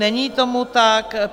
Není tomu tak.